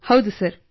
ಹೌದು ಸರ್